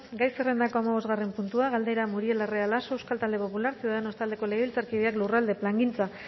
gai zerrendako hamabosgarren puntua galdera muriel larrea laso euskal talde popularra ciudadanos taldeko legebiltzarkideak lurralde plangintza